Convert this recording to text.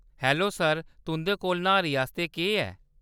Hello sir, तुंʼदे कोल न्हारी आस्तै केह्‌‌ ऐ ?